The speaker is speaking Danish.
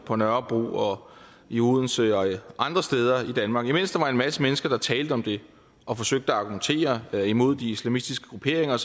på nørrebro og i odense og andre steder i danmark at imens der var en masse mennesker der talte om det og forsøgte at argumentere imod de islamistiske grupperinger